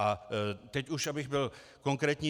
A teď už, abych byl konkrétní.